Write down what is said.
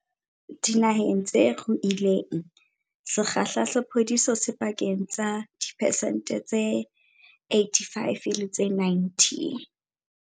Dinaheng tse ruileng, sekgahla sa phodiso se pakeng tsa diphesente tse 85 le tse 90.